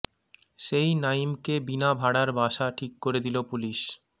সেই নাঈমকে বিনা ভাড়ার বাসা ঠিক করে দিল পুলিশ